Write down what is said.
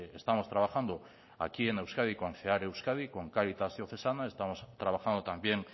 estamos trabajando aquí en euskadi con cear euskadi con cáritas diocesana estamos trabajando también